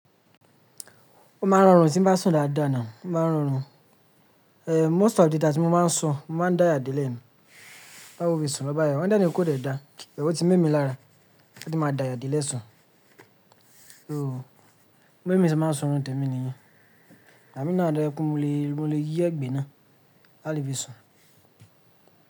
Ó máa ń rọrùn tí ń bá sùn dáadáa ni, ó máa ń rọrùn. Eh, most of the time tí mo máa ń sùn, mo máa ń daya dílẹ̀ ni. Bá wo fi sùn lọ́ báya. Wọ́n dáni kò dẹ̀ da, ẹ̀wọ̀ tí ń mí mi lára, ṣe kí n máa daya dílẹ̀ sùn? So, gbogbo ẹni tí ń sọ ọ̀rọ̀ tẹ̀mí nìyẹn. Àmí náà dárà pé mo lè, mo lè yí ẹ̀gbè náà, á lè fi sùn.